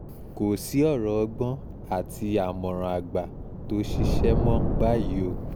kò sí ọ̀rọ̀ ọgbọ́n àti àmọ̀ràn àgbà tó ṣiṣẹ́ mọ́ báyìí o